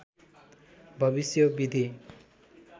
भविष्य विधि